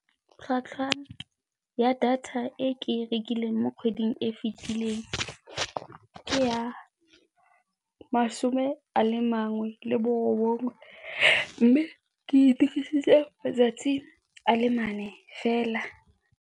Tlhwatlhwa ya data e ke e rekileng mo kgweding e fitlhileng ke ya masome a le mangwe le borobongwe mme ke e dirisitse matsatsi a le mane fela.